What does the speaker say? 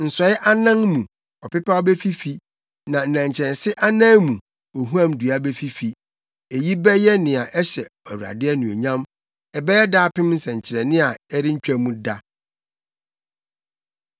Nsɔe anan mu ɔpepaw befifi, na nnɛnkyɛnse anan mu ohuam dua befifi. Eyi bɛyɛ nea ɛhyɛ Awurade anuonyam, ɛbɛyɛ daapem nsɛnkyerɛnne, a ɛrentwa mu da.